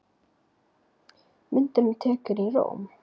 Myndin er tekin í Róm.